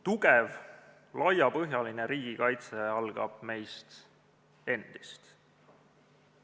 Tugev laiapõhjaline riigikaitse algab meist endist.